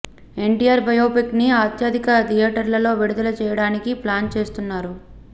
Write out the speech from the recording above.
NTR biopic ని అత్యధిక థియేటర్లలో విడుదల చేయడానికి ప్లాన్ చేస్తున్నారు